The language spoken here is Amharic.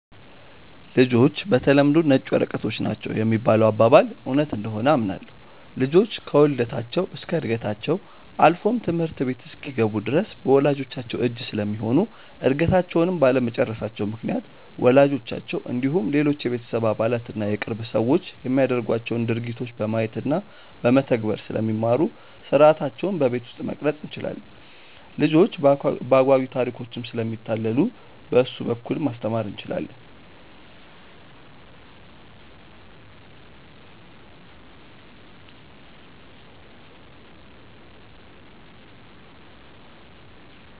''ልጆች በተለምዶ ነጭ ወረቀቶች ናቸው ''የሚባለው አባባል እውነት እንደሆነ አምናለሁ። ልጆች ከውልደታቸው እስከ ዕድገታቸው አልፎም ትምህርት ቤት እስኪገቡ ድረስ በወላጅቻቸው እጅ ስለሚሆኑ እድገታቸውንም ባለመጨረሳቸው ምክንያት ወላጆቻቸው እንዲሁም ሌሎች የቤተሰብ አባላት እና የቅርብ ሰዎች የሚያደርጓቸውን ድርጊቶች በማየት እና በመተግበር ስለሚማሩ ሥርዓታቸውን በቤት ውስጥ መቅረፅ እንችላለን። ልጆች በአጓጊ ታሪኮችም ስለሚታለሉ በእሱ በኩል ማስተማር እንችላለን።